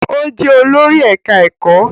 Ó jẹ́ olórí ẹ̀ká ẹ̀kọ́